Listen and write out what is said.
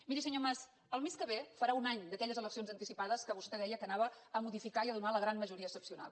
miri senyor mas el mes que ve farà un any d’aquelles eleccions anticipades que vostè deia que anaven a modificar i a donar la gran majoria excepcional